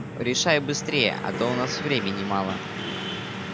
решай быстрее а то у нас времени мало